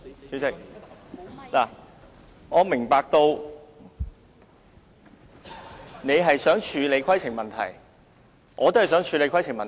主席，我明白你想處理規程問題，我也想處理規程問題。